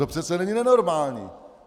To přece není nenormální.